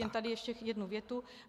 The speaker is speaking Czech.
Jen tady ještě jednu větu.